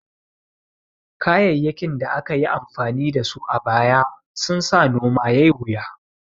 Kayayyakin da aka yi amfani da su a baya sun sa noma yai wuya